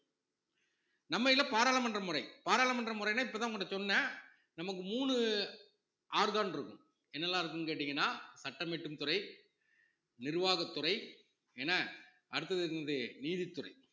நம்மையில பாராளுமன்ற முறை பாராளுமன்ற முறைன்னா இப்பதான் உங்க கிட்ட சொன்னேன் நமக்கு மூணு organ இருக்கும் என்னெல்லாம் இருக்குன்னு கேட்டீங்கன்னா சட்டம் இயற்றும் துறை, நிர்வாகத்துறை என்ன அடுத்தது இந்த நீதித்துறை